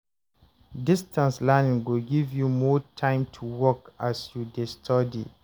Distance learning go give you more time to work as you dey study.